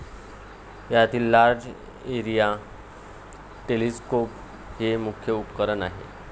यातील large area telescope हे मुख्य उपकरण आहे.